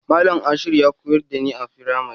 Malam Ashiru ya koyar da ni a firamari.